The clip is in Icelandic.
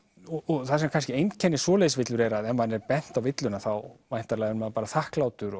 og það sem kannski einkennir svoleiðis villur er að ef manni er bent á villuna þá væntanlega er maður bara þakklátur